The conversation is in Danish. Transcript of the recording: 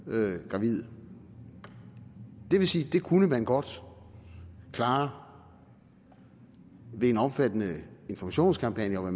gravide det vil sige det kunne man godt klare ved en omfattende informationskampagne og